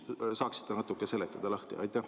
Ehk saaksite natukene lahti seletada?